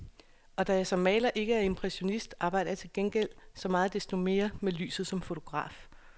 Og da jeg som maler ikke er impressionist, arbejder jeg til gengæld så meget desto mere med lyset som fotograf.